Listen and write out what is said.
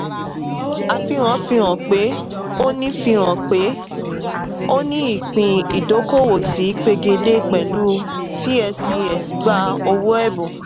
àfihàn fihàn pé òni fihàn pé òni ìpín ìdókòwò tí pegedé pẹ̀lú cscs gbà owó ẹ̀bùn.